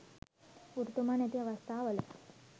ගුරුතුමා නැති අවස්ථා වල